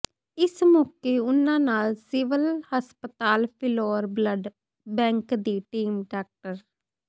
ਇਸ ਮੌਕੇ ਉਨ੍ਹਾਂ ਨਾਲ ਸਿਵਲ ਹਸਪਤਾਲ ਫਿਲੌਰ ਬਲੱਡ ਬੈਂਕ ਦੀ ਟੀਮ ਡਾ